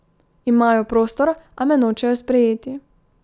Imajo prostor, a me nočejo sprejeti.